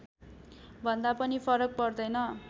भन्दा पनि फरक पर्दैन